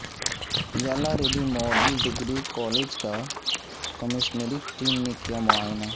Yellareddy model degree college کا commissionerate team نے کیا معائنہ